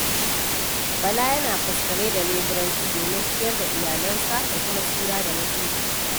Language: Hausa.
Bala yana faskare da leburanci domin ciyar da iyalansa da kuma tsira da mutuncinsa.